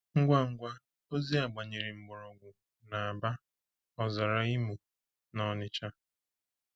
Ngwa ngwa ozi a gbanyere mkpọrọgwụ n’Aba, ọzara Imo, na Onitsha.